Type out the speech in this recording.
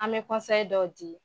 An bɛ dɔw di.